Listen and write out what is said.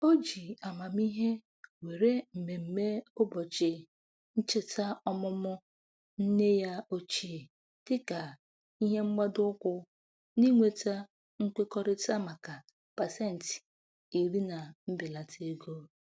O ji amamihe were mmemme ụbọchị ncheta ọmụmụ nne ya ochie dịka ihe mgbado ụkwụ n'inweta nkwekọrịta maka pasentị iri na mbelata ego.